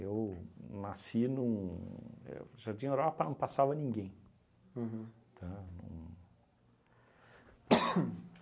nasci num... é o Jardim Europa não passava ninguém. Uhum. Tá? Não.